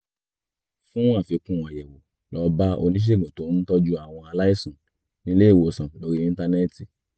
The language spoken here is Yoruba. fún àfikún àyẹ̀wò lọ bá oníṣègùn tó ń tọ́jú àwọn aláìsàn nílé ìwòsàn lórí íńtánẹ́ẹ̀tì